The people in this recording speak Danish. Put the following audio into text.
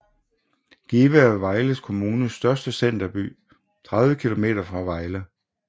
Give er Vejle Kommunes største centerby 30 km fra Vejle